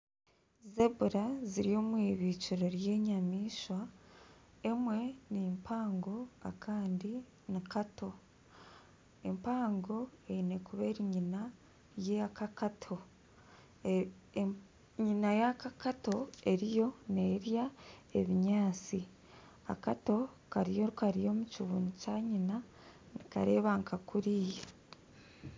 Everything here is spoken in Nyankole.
Zebura ziri omu irindiro ry'enyamaishwa emwe ni mpango akandi ni kato empango eine kuba eri nyina y'akato, nyina yaka akato eriyo nerya ebinyaatsi akato kariyo kari aha kibunu kya nyina nikareeba nka kuriya.